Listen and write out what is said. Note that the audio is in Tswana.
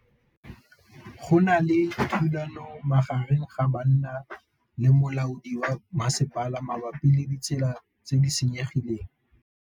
Go na le thulanô magareng ga banna le molaodi wa masepala mabapi le ditsela tse di senyegileng.